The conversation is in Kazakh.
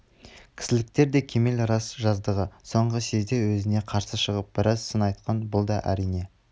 кісіліктер де кемел рас жаздағы соңғы съезде өзіне қарсы шығып біраз сын айтқан бұл да әрине